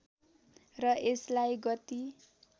र यसलाई गति